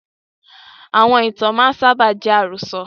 Àwọn ìtàn máa ń sábà jẹ́ àròsọ̀